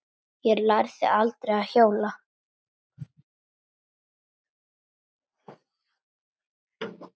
Ég lærði aldrei að hjóla.